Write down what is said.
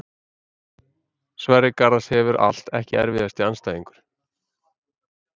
Sverrir Garðars hefur allt Ekki erfiðasti andstæðingur?